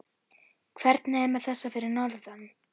Hvernig er með þessa fyrir norðan?